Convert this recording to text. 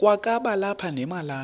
kwakaba lapha nemalana